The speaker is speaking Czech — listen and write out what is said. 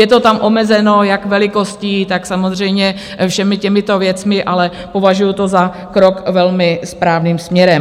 Je to tam omezeno jak velikostí, tak samozřejmě všemi těmito věcmi, ale považuju to za krok velmi správným směrem.